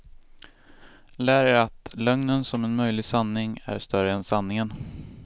Lär er att lögnen som en möjlig sanning, är större än sanningen.